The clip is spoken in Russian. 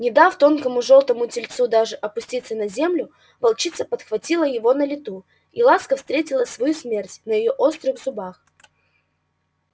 не дав тонкому жёлтому тельцу даже опуститься на землю волчица подхватила его на лету и ласка встретила свою смерть на её острых зубах